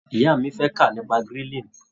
Ìyá mi fẹ́ kà nípa grilling.